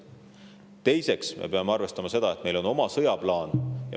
Teiseks, me peame arvestama seda, et meil on oma sõjaplaan.